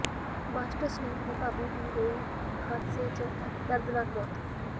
master Salim ਦੀ ਭਾਬੀ ਦੀ ਹੋਈ ਹਾਦਸੇ ਚ ਦਰਦਨਾਕ ਮੌਤ